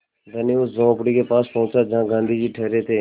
धनी उस झोंपड़ी के पास पहुँचा जहाँ गाँधी जी ठहरे थे